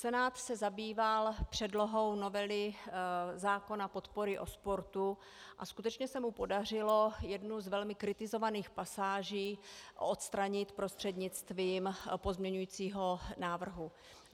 Senát se zabýval předlohou novely zákona podpory o sportu a skutečně se mu podařilo jednu z velmi kritizovaných pasáží odstranit prostřednictvím pozměňovacího návrhu.